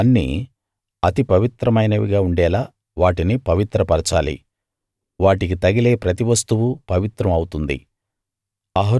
అవన్నీ అతి పవిత్రమైనవిగా ఉండేలా వాటిని పవిత్రపరచాలి వాటికి తగిలే ప్రతి వస్తువూ పవిత్రం అవుతుంది